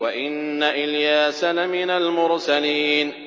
وَإِنَّ إِلْيَاسَ لَمِنَ الْمُرْسَلِينَ